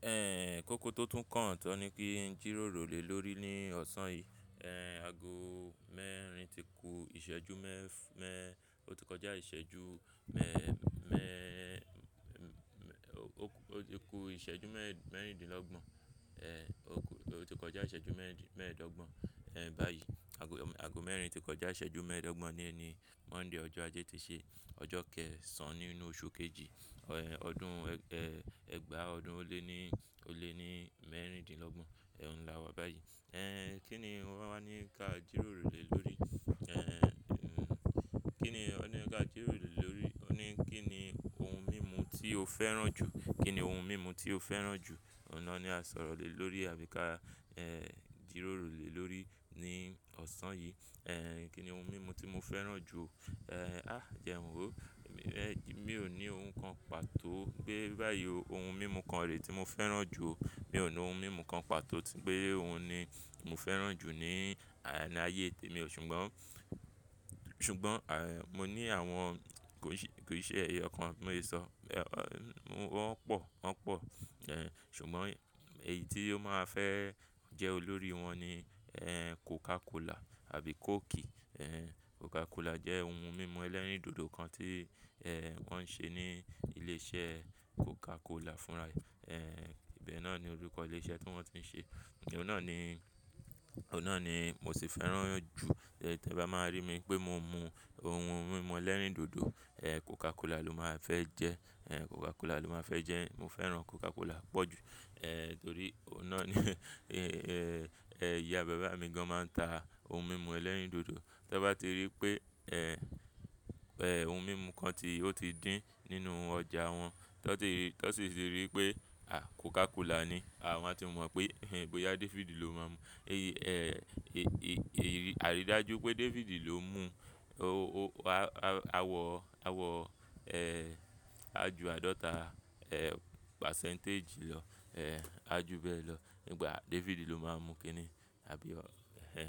Ehn, koko tó tún kàn tán ni kí n jìròrò lè lórí ní ọ̀sán yìí. Ẹ̀, ago mẹ́rin ti ku ìṣẹ́jú mẹ́ẹ́fà mẹ́, ó ti kọjá ìṣẹ́jú mẹ́ẹ́ ẹ́ mẹ́ ẹ́, ó ti ku ìṣẹ́jú mẹ́ẹ̀rín dín lọ́gbọ̀n. Ẹ̀, ó ti kọjá ìṣẹ́jú mẹ́ẹ̀dọ́gbọ̀n. Ẹ̀, báyìí, ago mẹ́rin ti kọjá ìṣẹ́jú mẹ́ẹ̀dọ́gbọ̀n ní ẹni Monday ọjọ́ ajé ti ṣe ọjọ́ kẹ́ẹ̀sán nínú oṣù kejì, ọ̀ ẹ̀, ọdún ẹ̀, ẹgbàá ọdún ó lé ní, ó lé ní mẹ́ẹ̀rín dín lọ́gbọ̀n, ẹ̀ n là wá báyìí. Ẹ̀, kí ni ó won wá ní ká jìròrò lè lórí? Ẹ̀, kí ni ó ní ká jìròrò lè lórí? Ó ní kí ni ohun mímu tí o fẹ́ràn jù? Kí ni ohun mímu tí o fẹ́ràn jù? Ọ̀nà ni a sọ̀rọ̀ lè lórí àbí ká, ẹ́, jìròrò lè lórí ní ọ̀sán yìí. Ẹ̀, kí ni ohun mímu tí mo fẹ́ràn jù? Ẹ̀, a jẹ n wò. Mi ò ní ohun kan pàtó pé báyìí ohun mímu kan rè tí mo fẹ́ràn jù. Mi ò ní ohun mímu kan pàtó tí pé òun ni mo fẹ́ràn jù ní ayé tè mi ò ṣùgbọ́n, ṣùgbọ́n, à, mo ní àwọn kò sí, kò sí ẹ̀yo kàn bi mo se sọ. Wọ́n pọ̀, wọ́n pọ̀. Ẹ̀, ṣùgbọ́n èyí tí ó máa fẹ́ jẹ́ olórí wọn ni ẹ́, Coca Cola àbí Coke. Ẹ̀, Coca Cola jẹ́ ohun mímu ẹlẹ́rìndòdò kan tí, ẹ́, wọ́n ń ṣe ní ilé iṣẹ́ Coca Cola fúnra ẹ́, ibẹ̀ náà ni orúkọ ilé iṣẹ́ tí wọ́n ti ń ṣe. Òun náà ni, òun náà ni mo sì fẹ́ràn jù. Tẹ bá máa rí mi pé mo mú ohun mímu ẹlẹ́rìndòdò, ẹ́, Coca Cola ló máa fẹ́ jẹ́. Ẹ̀, Coca Cola ló máa fẹ́ jẹ́. Mo fẹ́ràn Coca Cola pọ̀ jù. Ẹ̀, torí ọ̀un nà ẹ́, ìyá bàbá mi gan máa ń ta ohun mímu ẹlẹ́rìndòdò. Tọ bá ti rí pé, ẹ́, ẹ́, ohun mímu kan ti, ó ti dín nínú ọjà wọn, tọ sì ti rí pé, à, Coca Cola ni, a won a ti mọ̀ pé, ẹ́, gboyà David ló máa mú. Ẹ̀, èyí, àrídájú pé Dáfídì ló mú o, o, a, a, a wọ, a wọ, ẹ́, a ju àádọ́ta, ẹ́, percentage lọ. Ẹ̀, a ju bẹ́ẹ̀ lọ. Nígbà Dáfídì ló máa ń mu kíni àbí ẹ́,